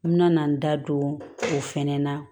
N mɛna n da don o fɛnɛ na